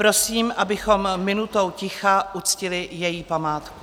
Prosím, abychom minutou ticha uctili její památku.